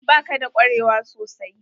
Ba ka da kwarewa sosai?